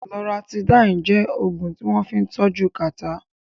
Loratidín jẹ́ Ògùn tí wọ́n fín tọ́jú kàtá